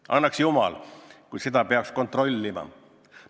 Annaks jumal, et see oleks nii, kui seda peaks kontrollitama!